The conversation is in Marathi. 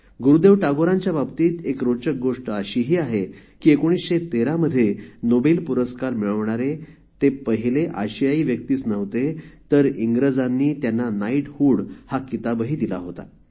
गुरुदेव टागोरांच्याबाबतीत एक रोचक गोष्ट अशीही आहे की १९१३ मध्ये नोबेल पुरस्कार मिळवणारे ते पहिले अशियाई व्यक्तीच नव्हते तर इंग्रजांनी त्यांना नाईटहूड हा किताबही दिला होता